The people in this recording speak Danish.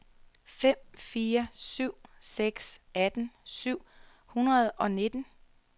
fem fire syv seks atten syv hundrede og nitten